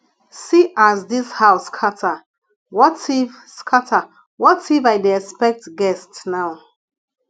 see as dis house scatter what if scatter what if i dey expect guest now